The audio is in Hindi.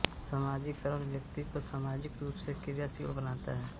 सामाजीकरण व्यक्ति को सामाजिक रूप से क्रियाशील बनाता है